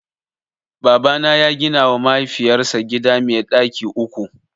Babana ya gina wa mahaifiyar sa gida mai ɗaki uku